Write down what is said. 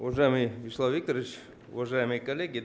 уважаемый вячеслав викторович уважаемые коллеги